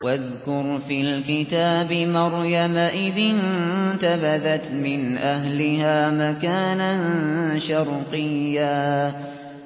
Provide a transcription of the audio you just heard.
وَاذْكُرْ فِي الْكِتَابِ مَرْيَمَ إِذِ انتَبَذَتْ مِنْ أَهْلِهَا مَكَانًا شَرْقِيًّا